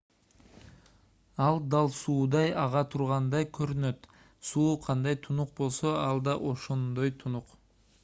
ал дал суудай ага тургандай көрүнөт суу кандай тунук болсо ал дал ошондой тунук